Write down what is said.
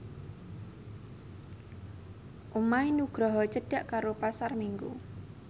omahe Nugroho cedhak karo Pasar Minggu